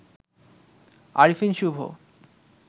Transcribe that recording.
Arefin Shubho